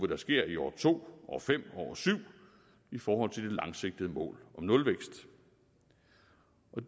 der sker i år to år fem og år syv i forhold til det langsigtede mål om nulvækst